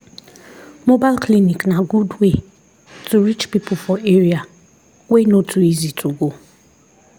mobile clinic na good way to reach people for area wey no too easy to go.